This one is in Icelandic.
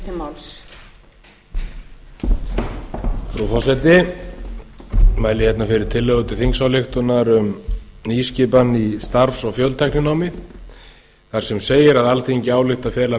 frú forseti ég mæli hérna fyrir tillögu til þingsályktunar um nýskipan í starfs og fjöltækninámi þar sem segir að alþingi álykti að fela